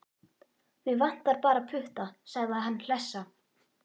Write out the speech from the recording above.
Mig vantar bara putta, sagði hann hlessa.